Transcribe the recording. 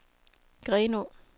Grenå